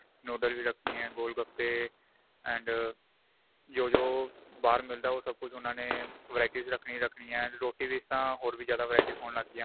noodle ਵੀ ਰੱਖਣੀ ਏ ਗੋਲ ਗਪੇ and ਜੋ ਜੋ ਬਾਹਰ ਮਿਲਦਾ ਉਹ ਸਭ ਕੁੱਝ ਉਹਨਾ ਨੇ verities ਰੱਖਣੀ ਹੀ ਰੱਖਣੀ ਹੈ ਰੋਟੀ ਵਿੱਚ ਤਾਂ ਹੋਰ ਵੀ ਜਿਆਦਾ verities ਹੋਣ ਲੱਗ ਗਿਆ